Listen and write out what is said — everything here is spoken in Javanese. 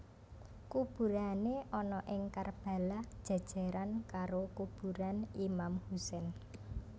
Kuburané ana ing Karbala jèjèran karo kuburan Imam Hussein